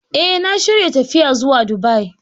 Eh, na shirya tafiya zuwa Dubai